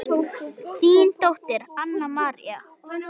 Þín dóttir Anna María.